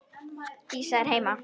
Dísa er heima!